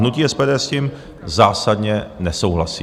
Hnutí SPD s tím zásadně nesouhlasí.